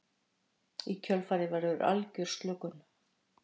í kjölfarið verður algjör slökun